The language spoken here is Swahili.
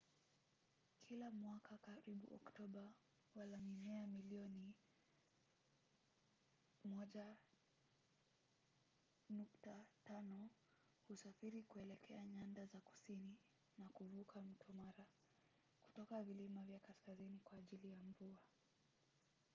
kila mwaka karibu oktoba wala-mimea milioni 1.5 husafiri kuelekea nyanda za kusini na kuvuka mto mara kutoka vilima vya kaskazini kwa ajili ya mvua